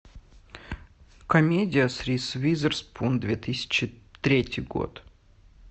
комедия с риз уизерспун две тысячи третий год